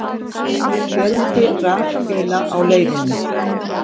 Fjöldi rafbíla á leiðinni